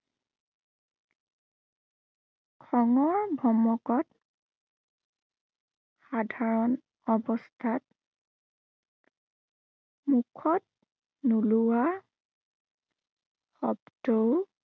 খঙৰ ভমকত সাধাৰণ অৱস্থাত মুখত, নোলোৱা শব্দও